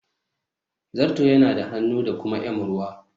Zato yana da hannu da kuma m ruwa.